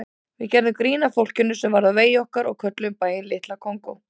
Við gerðum grín að fólkinu sem varð á vegi okkar og kölluðum bæinn Litla Kongó.